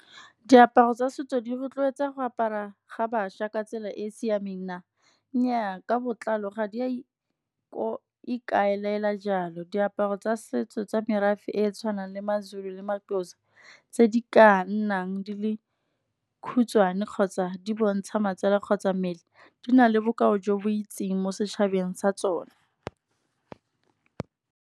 Diaparo tsa setso di rotloetsa go apara ga bašwa ka tsela e e siameng na, nnyaa ka botlalo ga di a ikaelela jalo. Diaparo tsa setso tsa merafe e e tshwanang le maZulu le maXhosa, tse di ka nnang di le khutshwane, kgotsa di bontsha matsele kgotsa mmele, di na le bokao jo bo itseng mo setšhabeng sa tsone.